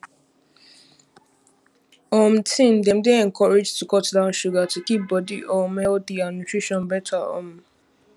um teen dem dey encouraged to cut down sugar to keep body um healthy and nutrition better um